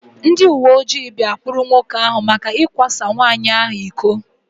Ndị uwe ojii bia kpụrụ nwoke áhù maka ikwa sa nwanyị ahụ ịkọ